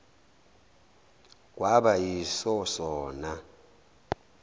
kwaba yiso sona